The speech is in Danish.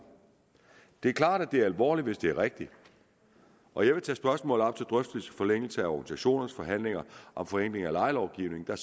det er klart at det er alvorligt hvis det er rigtigt og jeg vil tage spørgsmålet op til drøftelse forlængelse af organisationernes forhandlinger om forenkling af lejelovgivningen der